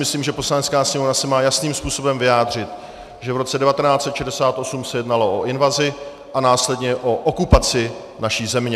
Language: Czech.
Myslím, že Poslanecká sněmovna se má jasným způsobem vyjádřit, že v roce 1968 se jednalo o invazi a následně o okupaci naší země.